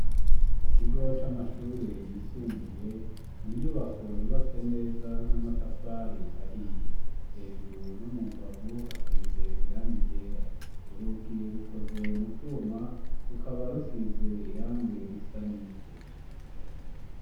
mu kigo c'amashure yisumbuye ni inyubako yubatse neza n'amatafari ahiye hejuru no mu mbavu hasize irange ryera urugi rukoze mucuma rukaba rusize irange risa nivu